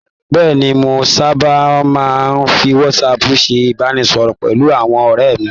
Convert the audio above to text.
Bẹ́ẹ̀ni, mo sábà máa ń fi WhatsApp ṣe ìbánisọ̀rọ̀ pẹ̀lú àwọn ọ̀rẹ́ mi.